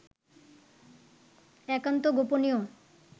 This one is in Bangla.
একান্ত গোপনীয়